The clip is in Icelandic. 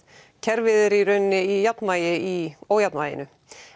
kerfið er í raun í jafnvægi í ójafnvæginu